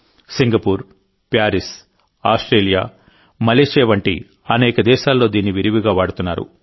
Singapore Paris Australia Malaysia వంటి అనేక దేశాల్లో దీన్ని విరివిగా వాడుతున్నారు